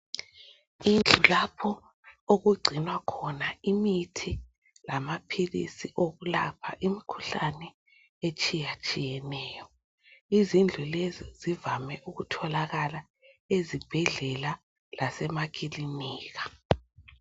Indlu lapho okugcinwa khona imithi lamaphilisi okulapha imikhuhlane etshiyetshiyeneyo. Izindlu lezi zivame ukutholakala ezibhedlela lasemakilinika.